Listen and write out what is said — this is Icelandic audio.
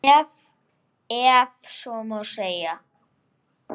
Ef svo má segja.